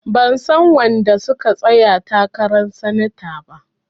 Ban san wanda suka tsayar takaran sanata ba.